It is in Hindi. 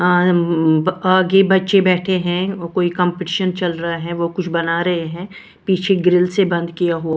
आ उम्म आगे बच्चे बैठे हैं कोई कंपटीशन चल रहा है वो कुछ बना रहे हैं पीछे ग्रिल से बंद किया हो--